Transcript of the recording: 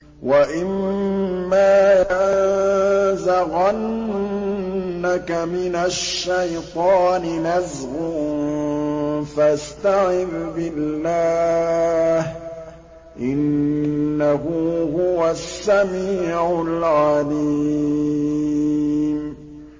وَإِمَّا يَنزَغَنَّكَ مِنَ الشَّيْطَانِ نَزْغٌ فَاسْتَعِذْ بِاللَّهِ ۖ إِنَّهُ هُوَ السَّمِيعُ الْعَلِيمُ